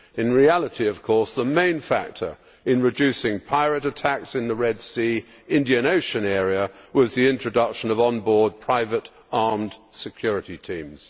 In reality, of course, the main factor in reducing pirate attacks in the Red Sea Indian Ocean area was the introduction of on board private armed security teams.